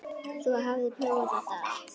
Þú hafðir prófað þetta allt.